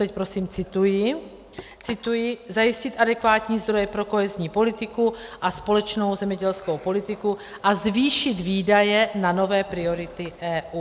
Teď prosím cituji: Zajistit adekvátní zdroje pro kohezní politiku a společnou zemědělskou politiku a zvýšit výdaje na nové priority EU.